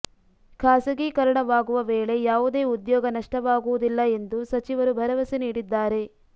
ಖಾಸಗೀಕರಣವಾಗುವ ವೇಳೆ ಯಾವುದೇ ಉದ್ಯೋಗ ನಷ್ಟವಾಗುವುದಿಲ್ಲ ಎಂದು ಸಚಿವರು ಭರವಸೆ ನೀಡಿದ್ದಾರೆ